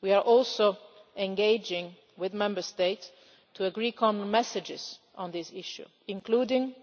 We are also engaging with Member States to agree common messages on this issue, including